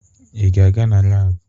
Ị ga-aga na laabụ?